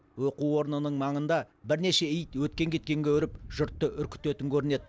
оқу орнының маңында бірнеше ит өткен кеткенге үріп жұртты үркітетін көрінеді